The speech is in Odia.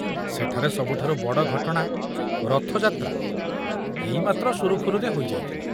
ସେଠାରେ ସବୁଠାରୁ ବଡ଼ ଘଟଣା ରଥଯାତ୍ରା ଏଇ ମାତ୍ର ସୁରୁଖୁରୁରେ ହୋଇ ଯାଇଥିଲା।